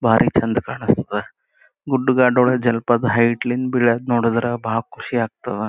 ಬಾರಿ ಚೆಂದ ಕಾಣಸ್ತದ ಗುಡ್ ಗಾಡ್ ಒಳಗ್ ಜಲ್ಪದ ಹೇಯ್ಗ್ಟ್ ಲಿಂದ್ ಬೀಳೋದ್ ನೋಡಿದ್ರ ಬಾರಿ ಖುಷಿ ಆಗ್ತಾದ .